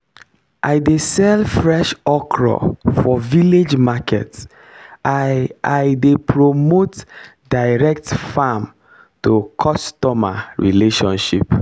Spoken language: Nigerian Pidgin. i dey sell fresh okra for village market i i dey promote direct farm to customer relationship